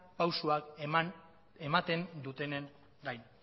pausuak ematen dutenen gain